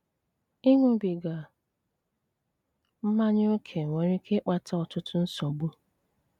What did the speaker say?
Ị́ṅúbígá mmányá ókè nwéré íké ị́kpátá ọ́tụ́tù nsògbu.